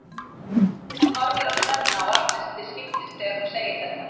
Hún horfir á Svenna og Agnesi til skiptis þegar hún segir þetta.